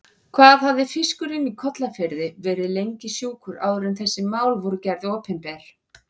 Hvað hafði fiskurinn í Kollafirði verið lengi sjúkur áður en þessi mál voru gerð opinber?